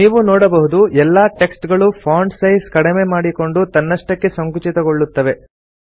ನೀವು ನೋಡಬಹುದು ಎಲ್ಲಾ ಟೆಕ್ಸ್ಟ್ ಗಳೂ ಫಾಂಟ್ ಸೈಜ್ ಕಡಿಮೆ ಮಾಡಿಕೊಂಡು ತನ್ನಷ್ಟಕ್ಕೆ ಸಂಕುಚಿತಗೊಳ್ಳುತ್ತವೆ